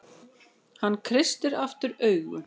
Hann kreistir aftur augun.